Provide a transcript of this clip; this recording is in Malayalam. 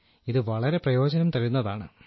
ഇത് വളരെ പ്രയോജനം തരുന്നതാണ്